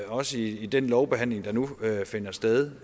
også i den lovbehandling der nu finder sted